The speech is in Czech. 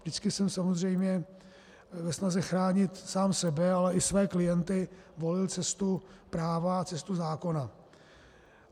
Vždycky jsem samozřejmě ve snaze chránit sám sebe, ale i své klienty volil cestu práva a cestu zákona.